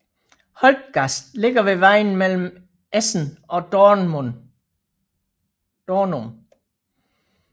Holtgast ligger ved vejen mellem Esens og Dornum